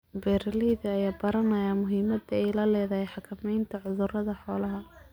Beeralayda ayaa baranaya muhiimadda ay leedahay xakamaynta cudurrada xoolaha.